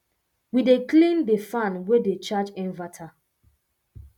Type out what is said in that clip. we dey clean de fan way dey charge inverter